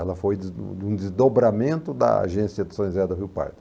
Ela foi des um desdobramento da agência de São José da Rio Pardo.